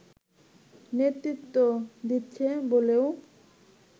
নেতৃত্ব দিচ্ছে বলেও